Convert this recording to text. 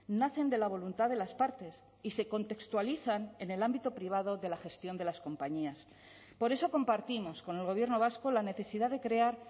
nacen de la voluntad de las partes y se contextualizan en el ámbito privado de la gestión de las compañías por eso compartimos con el gobierno vasco la necesidad de crear